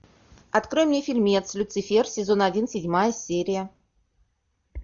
открой мне фильмец люцифер сезон один седьмая серия